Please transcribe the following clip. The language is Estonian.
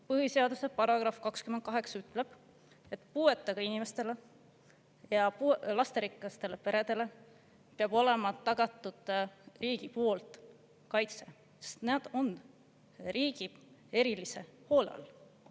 Põhiseaduse § 28 ütleb, et puuetega inimestele ja lasterikastele peredele peab olema tagatud riigi poolt kaitse, sest nad on riigi erilise hoole all.